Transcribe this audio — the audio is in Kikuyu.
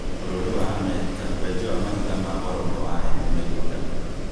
Bũrũri wa Amerika, wenji wa mahiga ma goro nĩcia ene mĩgũnda